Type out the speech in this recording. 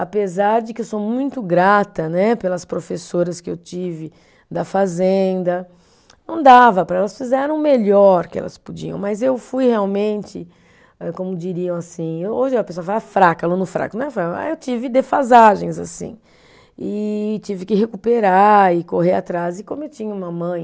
Apesar de que eu sou muito grata né pelas professoras que eu tive da fazenda, não dava, elas fizeram o melhor que elas podiam, mas eu fui realmente, eh como diriam assim, hoje a pessoa fala fraca, aluno fraco, não é fraco, mas eu tive defasagens assim, e tive que recuperar e correr atrás, e como eu tinha uma mãe,